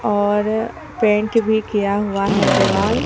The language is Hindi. और पेंट भी किया हुआ है दीवाल ।